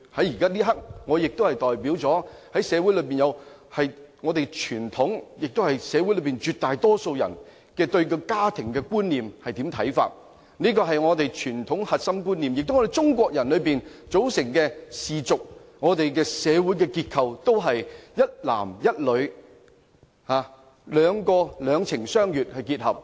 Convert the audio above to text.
在這一刻，我代表了社會上傳統及大多數人對家庭觀念的看法，這是我們傳統的核心觀念，而中國人組成的氏族和我們的社會結構，也是一男一女，兩情相悅結合。